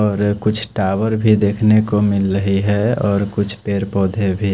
और कुछ टावर भी देख नेको मिल रही है और कुछ पेड़ पौधे भी--